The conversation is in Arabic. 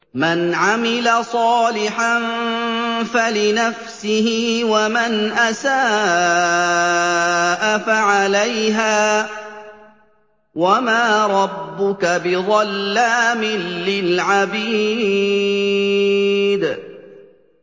مَّنْ عَمِلَ صَالِحًا فَلِنَفْسِهِ ۖ وَمَنْ أَسَاءَ فَعَلَيْهَا ۗ وَمَا رَبُّكَ بِظَلَّامٍ لِّلْعَبِيدِ